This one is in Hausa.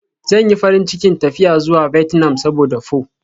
Zan yi farin cikin tafiya zuwa Vietnam saboda pho.